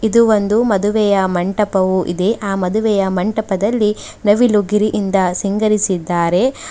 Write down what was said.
ಇದು ಒಂದು ಮದುವೆಯ ಮಂಟಪವು ಇದೆ ಆ ಮದುವೆಯ ಮಂಟಪದಲ್ಲಿ ನವಿಲು ಗಿರಿಯಿಂದ ನಿಂಗರಿಸಿದ್ದಾರೆ.